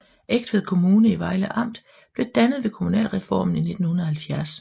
Egtved Kommune i Vejle Amt blev dannet ved kommunalreformen i 1970